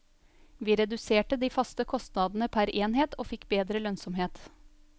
Vi reduserte de faste kostnadene per enhet og fikk bedre lønnsomhet.